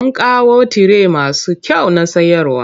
Mun kawo tire masu kyau na sayarwa.